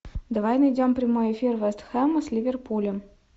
давай найдем прямой эфир вест хэма с ливерпулем